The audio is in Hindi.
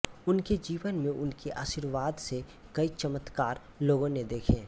उनके जीवन में उनके आशीर्वाद से कई चमत्कार लोगों ने देखें